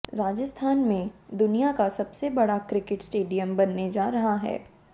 राजस्थान में दुनिया का सबसे बड़ा क्रिकेट स्टेडियम बनने जा रहा है